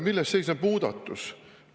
Milles seisneb muudatus?